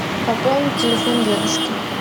пополни телефон дедушки